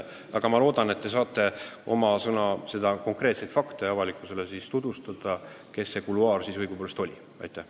Aga ma loodan, et te saate hiljem sõna võttes konkreetseid fakte avalikkusele tutvustada ja rääkida, mis seal kuluaarides siis õigupoolest toimunud on.